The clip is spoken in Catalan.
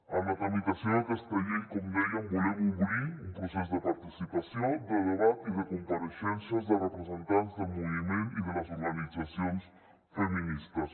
en la tramitació d’aquesta llei com dèiem volem obrir un procés de participació de debat i de compareixences de representants de moviment i de les organitzacions feministes